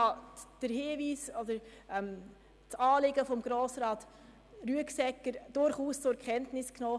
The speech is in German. Ich habe den Hinweis beziehungsweise das Anliegen von Grossrat Rüegsegger durchaus zur Kenntnis genommen.